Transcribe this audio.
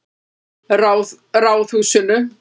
Ráðhúsinu